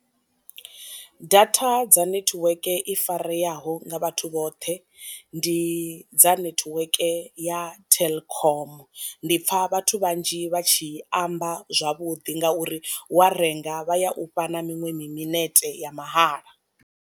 Data dza netiweke i fareaho nga vhathu vhoṱhe ndi dza nethiweke ya telkom, ndi pfa vhathu vhanzhi vha tshi amba zwavhuḓi nga uri wa renga vha ya ufha na miṅwe mi minete ya mahala.